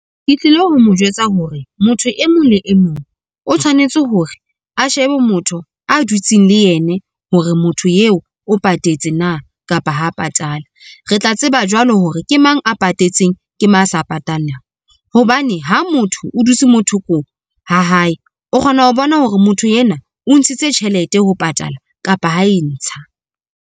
Ke tlile ho mo jwetsa hore motho e mong le e mong o tshwanetse hore a shebe motho a dutseng le yene hore motho eo o patetse na kapa ha patala. Re tla tseba jwalo hore ke mang a patetseng ke mang a sa patalang. Hobane ha motho o dutse mo thoko ha hae, o kgona ho bona hore motho enwa o ntshitse tjhelete ho patala kapa ha e ntsha.